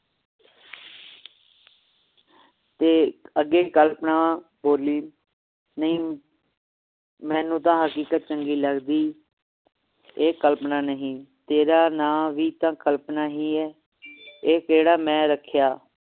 ਤੇ ਅੱਗੇ ਕਲਪਨਾ ਬੋਲੀ ਨਹੀਂ ਮੈਨੂੰ ਤਾ ਹਕੀਕਤ ਚੰਗੀ ਲਗਦੀ ਇਹ ਕਲਪਨਾ ਨਹੀਂ ਤੇਰਾ ਨਾ ਵੀ ਤਾ ਕਲਪਨਾ ਹੀ ਹੈ ਇਹ ਕਿਹੜਾ ਮੈਂ ਰੱਖਿਆ